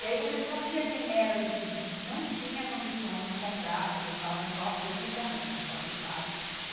E aí você sabia quem era daquele grupo que não tinha condições de comprar, porque estudava numa escola pública né, numa escola do estado.